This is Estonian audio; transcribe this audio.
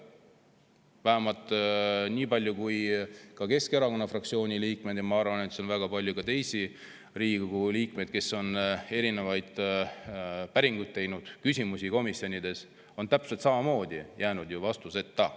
Vähemalt nii palju kui Keskerakonna fraktsiooni liikmed on küsinud – ma arvan, et siin on ka väga palju teisi Riigikogu liikmeid, kes on päringuid teinud, küsimusi esitanud komisjonides –, on need küsimused täpselt samamoodi jäänud vastuseta.